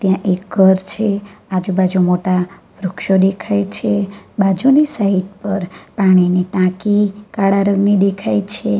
આ એક ઘર છે આજુબાજુ મોટા વૃક્ષો ડેખાય છે બાજુની સાઈટ પર પાણીની ટાંકી કાળા રંગની ડેખાય છે.